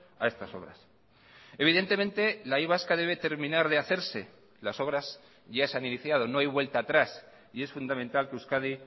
a estas obras evidentemente la y vasca debe terminar de hacerse las obras ya se han iniciado no hay vuelta atrás y es fundamental que euskadi